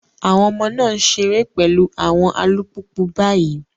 Àwọn ọmọ náà ń ṣeré pẹ̀lú àwọn alùpùpù báyìí.